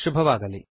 ಶುಭವಾಗಲಿ